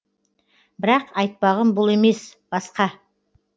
бірақ айтпағым бұл емес басқа